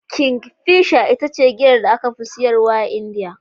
Kingfisher ita ce giyar da aka fi siyarwa a Indiya.